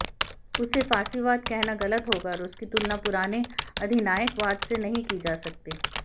उसे फासीवाद कहना गलत होगा और उसकी तुलना पुराने अधिनायकवाद से नहीं की जा सकती